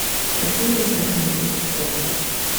какие рестораны есть в городе